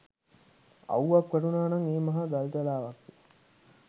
අව්වක් වැටුණා නම් ඒ මහ ගල්තලාවක්ය